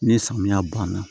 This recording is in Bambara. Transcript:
Ni samiya banna